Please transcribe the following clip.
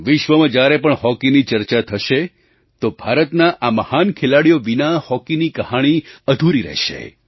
વિશ્વમાં જ્યારે પણ હૉકીની ચર્ચા થશે તો ભારતના આ મહાન ખેલાડીઓ વિના હૉકીની કહાણી અધૂરી રહેશે